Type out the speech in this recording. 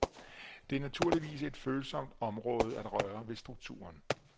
Det er naturligvis et følsomt område at røre ved strukturen.